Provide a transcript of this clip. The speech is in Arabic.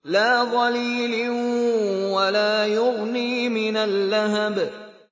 لَّا ظَلِيلٍ وَلَا يُغْنِي مِنَ اللَّهَبِ